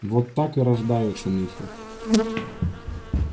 вот так и рождаются мифы